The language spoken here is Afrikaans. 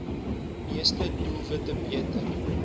meeste doelwitte beter